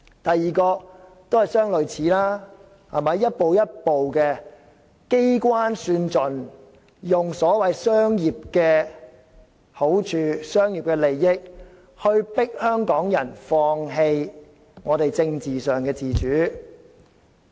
第二是相類似的做法，一步一步地機關算盡，以所謂商業的好處或利益迫使香港人放棄政治上的自主。